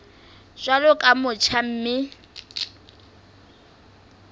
jwalo ka o motjha mme